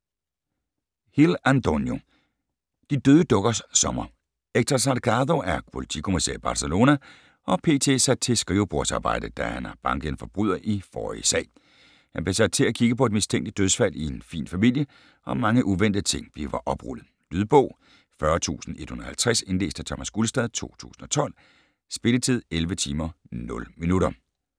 Hill, Antonio: De døde dukkers sommer Héctor Salgado er politikommissær i Barcelona og p.t. sat til skrivebordsarbejde, da han har banket en forbryder i forrige sag. Han bliver sat til at kigge på et mistænkeligt dødsfald i en fin familie, og mange uventede ting bliver oprullet. Lydbog 40150 Indlæst af Thomas Gulstad, 2012. Spilletid: 11 timer, 0 minutter.